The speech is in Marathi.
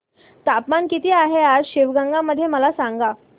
तापमान किती आहे आज शिवगंगा मध्ये मला सांगा